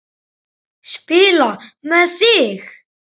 Spila með þig?